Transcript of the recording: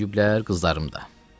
Böyüyüblər, qızlarım da.